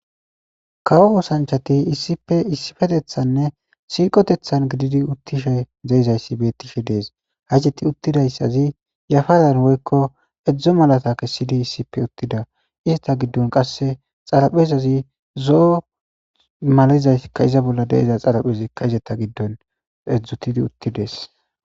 kawo kosanchati issippe issifetethanne siiqotethan gididi uttishe zeizayssi beettishe dees hajeti uttidayssazi yafazan woykko edzdzo malata kessidi issipe uttida izeta giddon qasse xarapezazi zo7o malizaykka iza bolla deiza xaraphezikka izeta giddon edzdzutidi uttidees